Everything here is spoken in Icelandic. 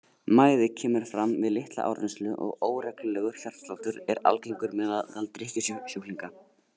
Mæði kemur fram við litla áreynslu og óreglulegur hjartsláttur er algengur meðal drykkjusjúklinga.